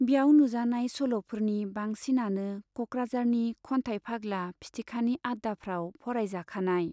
ब्याव नुजानाय सल' फोरनि बांसिनानो क'कराझारनि खन्थाइ फाग्ला 'फिथिखा' नि आड्डाफ्राव फरायजाखानाय।